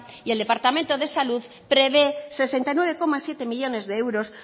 y el departamento de salud prevé sesenta y nueve coma siete millónes de euros